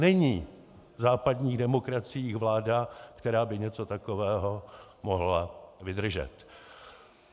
Není v západních demokraciích vláda, která by něco takového mohla vydržet.